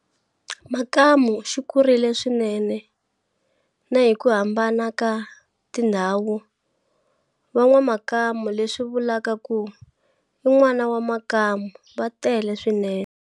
Makamu xi kurile swinene nahiku hambana kati ndhawu VaN'waMakamu leswi vulaku ku I N'wana Wa Makamu va tele swinene.